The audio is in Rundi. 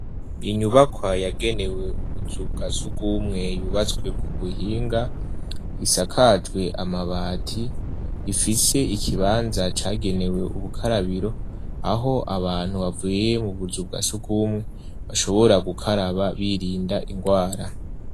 Inyubakwa yagenewe ubuzu bwa sugwumwe yubatswe ku buhinga, isakajwe amabati, ifise ikibanza cagenewe ubukarabiro, aho abantu bavuye mu buzu bwa sugwumwe bashobora gukaraba birinda ingwara.